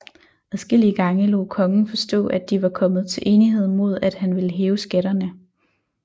Adskillige gange lod kongen forstå at de var kommet til enighed mod at han ville hæve skatterne